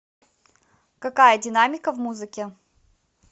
какая динамика в музыке